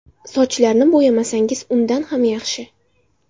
Sochlarni bo‘yamasangiz, undan ham yaxshi.